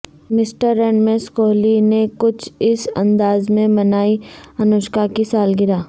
mister and Mrs Kohli نے کچھ اس انداز میں منائی انوشکا کی سالگرہ